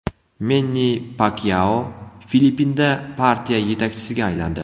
Menni Pakyao Filippinda partiya yetakchisiga aylandi.